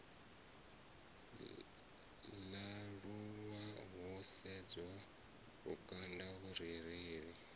ṱalulwa ho sedzwa lukanda vhurereli